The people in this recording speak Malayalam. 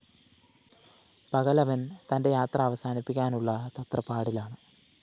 പകലവന്‍ തന്റെ യാത്ര അവസാനിപ്പിക്കാനുള്ള തത്രപ്പാടിലാണ്